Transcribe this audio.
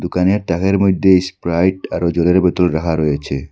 দোকানের তাকের মধ্যে স্প্রাইট আরও জলের বোতল রাখা রয়েছে।